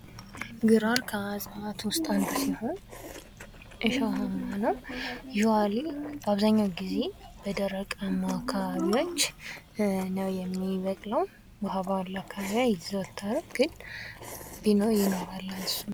ግራር ከእጽዋት ውስጥ አንዱ ሲሆን እሾሃማ ነው። በአብዘሃኛው ጊዜ በደረቃማ አካባቢዎች ነው የሚበቅለው ውሃ ባለው አካባቢ አይዘወተርም ግን ይኖራል።